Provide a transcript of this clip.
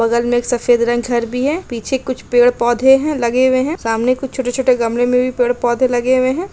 बगल में सफ़ेद रंग घर भी है पीछे कुछ पेड़-पोधे है लगे हुए है सामने कुछ छोटे-छोटे गमले में पेड़-पोधे लगे हुए है।